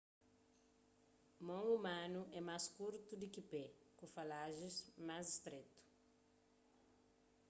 mon umanu é más kurtu di ki pé ku falajis más stretu